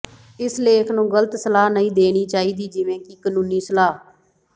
ਇਸ ਲੇਖ ਨੂੰ ਗਲਤ ਸਲਾਹ ਨਹੀਂ ਦੇਣੀ ਚਾਹੀਦੀ ਜਿਵੇਂ ਕਿ ਕਾਨੂੰਨੀ ਸਲਾਹ